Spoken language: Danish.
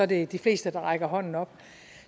det de fleste der rakte hånden op